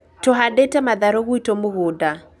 Tũhandĩte matharũ gwitũ mũgũnda